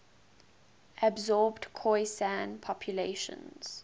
absorbed khoisan populations